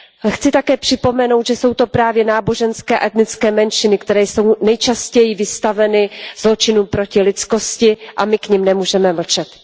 Chci také připomenout, že jsou to právě náboženské a etnické menšiny, které jsou nejčastěji vystaveny zločinům proti lidskosti, a my k nim nemůžeme mlčet.